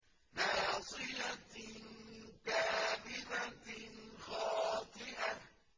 نَاصِيَةٍ كَاذِبَةٍ خَاطِئَةٍ